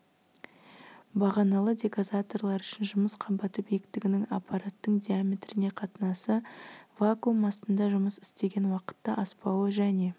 бағаналы дегазаторлар үшін жұмыс қабаты биіктігінің аппараттың диаметріне қатынасы вакуум астында жұмыс істеген уақытта аспауы және